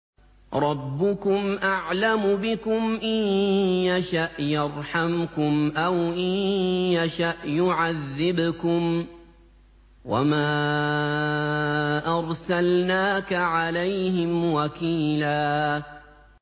رَّبُّكُمْ أَعْلَمُ بِكُمْ ۖ إِن يَشَأْ يَرْحَمْكُمْ أَوْ إِن يَشَأْ يُعَذِّبْكُمْ ۚ وَمَا أَرْسَلْنَاكَ عَلَيْهِمْ وَكِيلًا